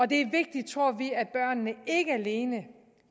det er vigtigt tror vi at børnene ikke alene